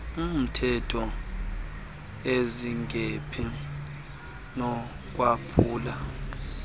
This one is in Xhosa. mtehtho ezingephi nokwaphulwa